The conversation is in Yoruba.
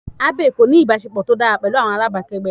Abby kò ní ìbáṣepọ̀ tó dára pẹ̀lú àwọn alábàgbé rẹ̀.